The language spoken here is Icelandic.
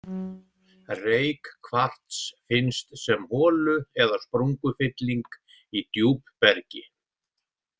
Reykkvars finnst sem holu- eða sprungufylling í djúpbergi.